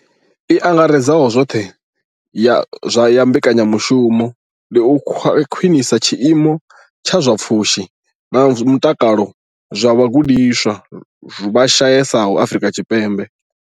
I angaredzaho zwoṱhe ya mbekanya mushumo ndi u khwinisa tshiimo tsha zwa pfushi na mutakalo zwa vhagudiswa vha shayesaho Afrika Tshipembe.